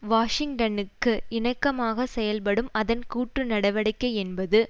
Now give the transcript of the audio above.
வாஷிங்டனுக்கு இணக்கமாக செயல்படும் அதன் கூட்டு நடவடிக்கை என்பது